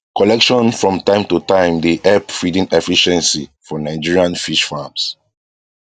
collection from time to time dey help feeding efficiency for nigerian fish farms